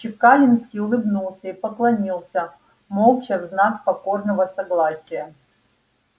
чекалинский улыбнулся и поклонился молча в знак покорного согласия